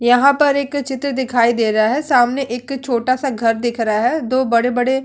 यहाँ पर एक चित्र दिखाई दे रहा है। सामने एक छोटा सा घर दिख रहा है। दो बड़े-बड़े --